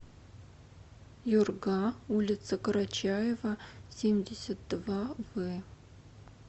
юрга улица карачаева семьдесят два в